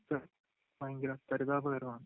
അവസ്ഥ വയങ്കര പരിതാപകരം ആണ്